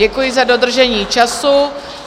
Děkuji za dodržení času.